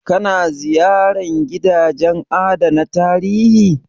Ka na ziyarar gidajen adana tarihi?